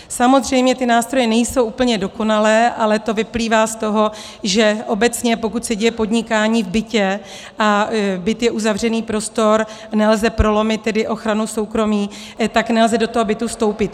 Samozřejmě ty nástroje nejsou úplně dokonalé, ale to vyplývá z toho, že obecně pokud se děje podnikání v bytě a byt je uzavřený prostor, nelze prolomit tedy ochranu soukromí, tak nelze do toho bytu vstoupit.